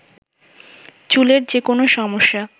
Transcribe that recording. চুলের যে কোনো সমস্যা